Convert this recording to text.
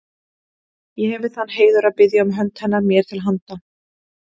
Ég hefi þann heiður að biðja um hönd hennar mér til handa.